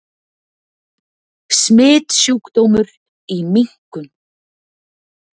Smitsjúkdómur í minkum